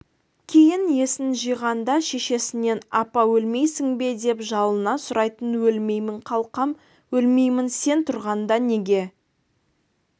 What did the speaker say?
кейін есін жиғанда шешесінен апа өлмейсің бе деп жалына сұрайтын өлмеймін қалқам өлмеймін сен тұрғанда неге